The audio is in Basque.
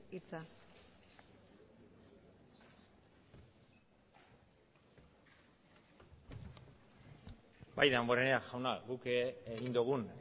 hitza bai damborenea jauna guk egin dugun